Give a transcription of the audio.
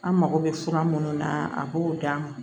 An mago bɛ fura minnu na a b'o d'an ma